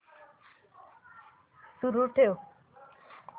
सुरू ठेव